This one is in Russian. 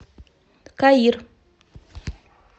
каир